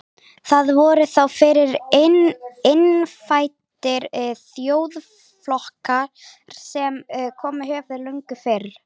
Þar voru þá fyrir innfæddir þjóðflokkar sem komið höfðu löngu fyrr.